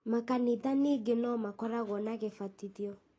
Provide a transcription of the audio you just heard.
makanitha ningĩ no makoragwo na gĩbatithio